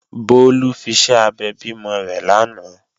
Bólú fiṣẹ́ abẹ bímọ rẹ̀ lánàá